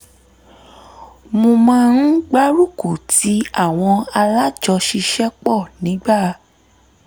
mo máa ń gbárùkù tí àwọn alájọṣiṣẹ́pọ̀ nígbà